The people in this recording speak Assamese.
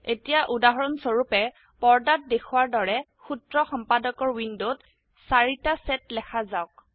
এতিয়া উদাহৰণ স্বৰুপে পৰ্দাত দেখোৱাৰ দৰে সূত্ৰ সম্পাদকৰ উইন্ডোত ৪ টা সেট লেখা যাওক